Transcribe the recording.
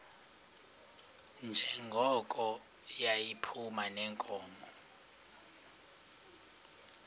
njengoko yayiphuma neenkomo